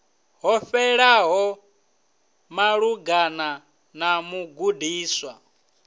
ho fhelelaho malugana na mugudiswa